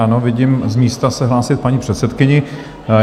Ano, vidím z místa se hlásit paní předsedkyni.